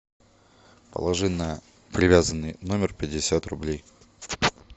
положи на привязанный номер пятьдесят рублей